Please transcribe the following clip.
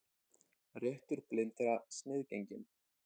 Réttur blindra sniðgenginn